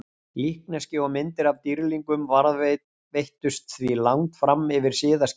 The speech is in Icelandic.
Líkneski og myndir af dýrlingum varðveittust því langt fram yfir siðaskipti.